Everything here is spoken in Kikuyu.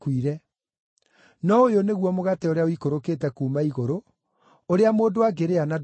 No ũyũ nĩguo mũgate ũrĩa ũikũrũkĩte kuuma igũrũ, ũrĩa mũndũ angĩrĩa na ndakue.